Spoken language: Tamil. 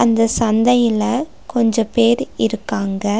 இந்த சந்தையில கொஞ்ச பேரு இருக்காங்க.